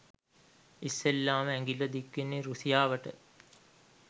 ඉස්සෙල්ලාම ඇඟිල්ල දික්වෙන්නෙ රුසියාවට